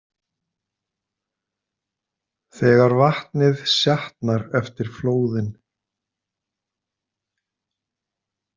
Þegar vatnið sjatnar eftir flóðin.